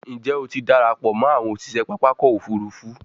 njé o tí darapọ̀ mọ àwọn òṣiṣẹ pápá ọkọ̀-òfurufú?